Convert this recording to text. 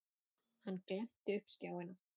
Hann glennti upp skjáina.